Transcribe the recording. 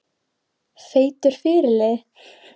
Feitur fyrirliði?